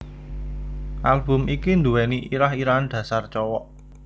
Album iki nduweni irah irahan Dasar Cowok